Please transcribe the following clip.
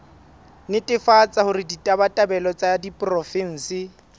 netefatsa hore ditabatabelo tsa diporofensi